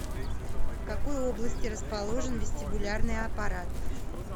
в какой области расположен вестибулярный аппарат